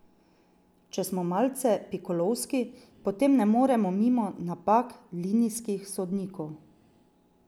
Če smo malce pikolovski, potem ne moremo mimo napak linijskih sodnikov.